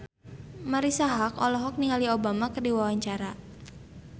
Marisa Haque olohok ningali Obama keur diwawancara